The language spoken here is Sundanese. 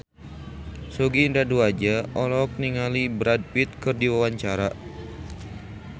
Sogi Indra Duaja olohok ningali Brad Pitt keur diwawancara